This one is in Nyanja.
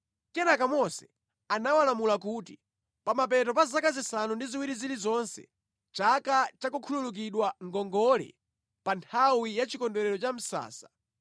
Kenaka Mose anawalamula kuti, “Pamapeto pa zaka zisanu ndi ziwiri zilizonse, chaka cha kukhululukidwa ngongole, pa nthawi ya Chikondwerero cha Misasa,